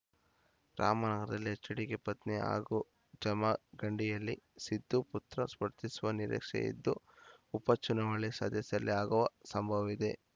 ರಾಮನಗರದಲ್ಲಿ ಎಚ್‌ಡಿಕೆ ಪತ್ನಿ ಹಾಗೂ ಜಮಖಂಡಿಯಲ್ಲಿ ಸಿದ್ದು ಪುತ್ರ ಸ್ಪರ್ಧಿಸುವ ನಿರೀಕ್ಷೆ ಇದ್ದು ಉಪಚುನಾವಣೆ ಸದ್ಯದಲ್ಲೇ ಆಗುವ ಸಂಭವವಿದೆ